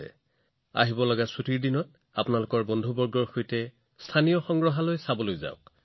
আগন্তুক বন্ধৰ দিনবোৰত আপুনি আপোনাৰ বন্ধুবৰ্গৰ সৈতে স্থানীয় সংগ্ৰহালয় দৰ্শন কৰিবলৈ যাওক